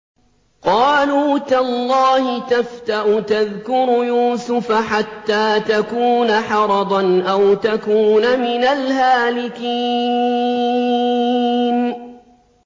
قَالُوا تَاللَّهِ تَفْتَأُ تَذْكُرُ يُوسُفَ حَتَّىٰ تَكُونَ حَرَضًا أَوْ تَكُونَ مِنَ الْهَالِكِينَ